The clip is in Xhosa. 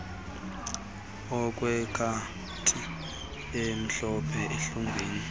okwekati emhlophe ehlungwini